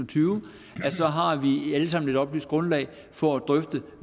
tyve har vi alle sammen et oplyst grundlag for at drøfte